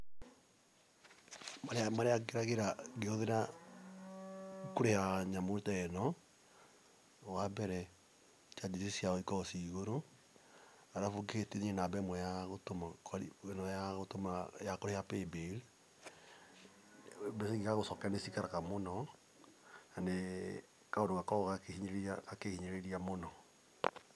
Mathĩna marĩa ngeragĩra ngĩhũthĩra kũrĩha nyamũ ta ĩno, wa mbere charges ciao ikoragwo ciĩ igũrũ. Alafu ũngĩhĩtania namba ĩmwe ĩno ya kũrĩha paybill, mbeca ingĩgagũcokerera nĩ cikaraga mũno. Nĩ gakoragwo gakĩhinyĩrĩria mũno.